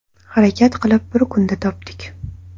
Harakat qilib bir kunda topdik.